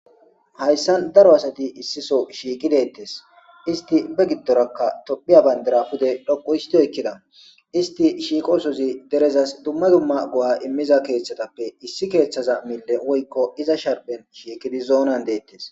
Hayssan daro asati issiso shiiqi deettes isti be giddorakka tophiya bayndira pude dhoqu hisidoykkida isti shiiqosozi derezas dumma dumma go'a immiza keeththatappe issi keeththaza mille woykko iza sharpen shiikidi zoonan deettes.